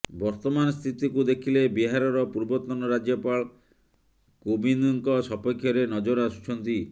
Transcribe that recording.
ବର୍ତ୍ତମାନ ସ୍ଥିତିକୁ ଦେଖିଲେ ବିହାରର ପୂର୍ବତନ ରାଜ୍ୟପାଳ କୋବିନ୍ଦଙ୍କ ସପକ୍ଷରେ ନଜର ଆସୁଛନ୍ତି